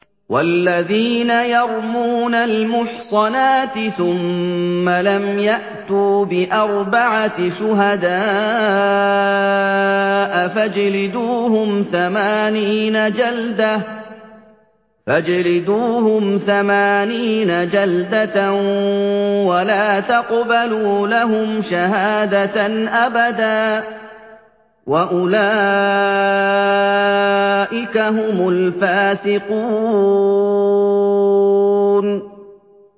وَالَّذِينَ يَرْمُونَ الْمُحْصَنَاتِ ثُمَّ لَمْ يَأْتُوا بِأَرْبَعَةِ شُهَدَاءَ فَاجْلِدُوهُمْ ثَمَانِينَ جَلْدَةً وَلَا تَقْبَلُوا لَهُمْ شَهَادَةً أَبَدًا ۚ وَأُولَٰئِكَ هُمُ الْفَاسِقُونَ